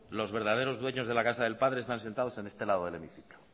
los verdaderos dueños de la casa del padre están sentados en este lado del hemiciclo